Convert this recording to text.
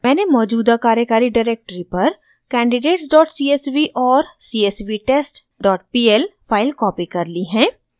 मैंने मौजूदा कार्यकारी डायरेक्टरी पर candidatescsv और csvtestpl फाइल कॉपी कर ली है